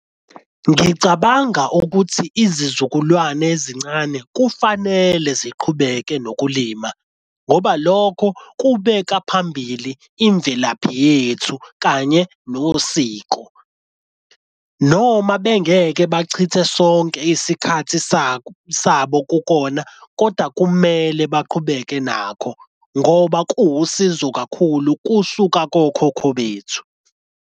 Ngicabanga ukuthi izizukulwane ezincane kufanele ziqhubeke nokulima ngoba lokho kubeka phambili imvelaphi yethu kanye nosiko, noma bengeke bachithe sonke isikhathi sabo kukona kodwa kumele baqhubeke nakho, ngoba kuwusizo kakhulu kusuka kokhokho bethu.